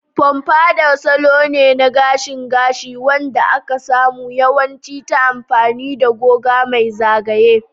Pompadour salo ne na gashin gashi wanda aka samu yawanci ta amfani da goga mai zagaye.